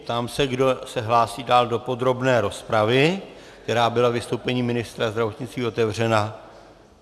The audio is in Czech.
Ptám se, kdo se hlásí dál do podrobné rozpravy, která byla vystoupením ministra zdravotnictví otevřena.